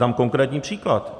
Dám konkrétní příklad.